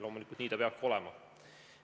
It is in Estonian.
Loomulikult, nii see peabki olema.